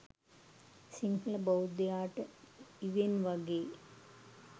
සිංහල බෞද්ධයාට ඉවෙන් වගේ